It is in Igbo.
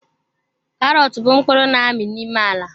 Karọt bụ mkpụrụ n'ami n'ime ala.